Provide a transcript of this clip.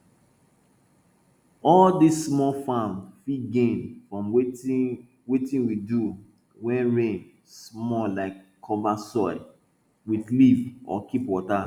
all dis small farm fit gain from wetin wetin we do wen rain small like cover soil with leaf or keep water